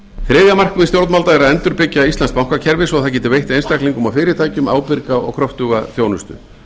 þriðja markmið stjórnvalda er að endurbyggja íslenskt bankakerfi svo það geti veitt einstaklingum og fyrirtækjum ábyrga og kröftuga þjónustu